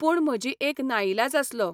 पूण म्हजी एक नाइलाज आसलो.